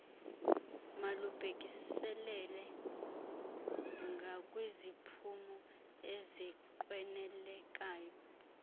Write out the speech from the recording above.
malubhekiselele ngakwiziphumo ezinqwenelekayo